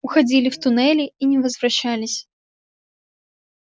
уходили в туннели и не возвращались